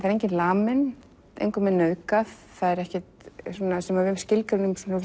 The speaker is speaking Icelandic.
enginn laminn engum nauðgað ekkert sem við skilgreinum